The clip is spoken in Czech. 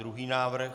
Druhý návrh?